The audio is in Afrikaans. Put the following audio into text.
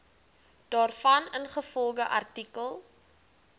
daarvan ingevolge artikel